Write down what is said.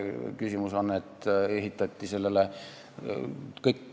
Küsimus aga ehitati sellele.